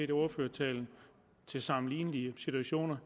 i ordførertalen til sammenlignelige situationer